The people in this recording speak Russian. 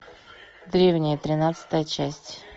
древние тринадцатая часть